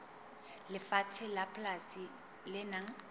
lefatshe la polasi le nang